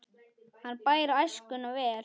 Hann bar æskuna vel.